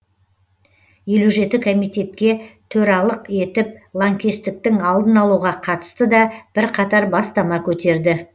елу жеті комитетке төралық етіп лаңкестіктің алдын алуға қатысты да бірқатар бастама көтерді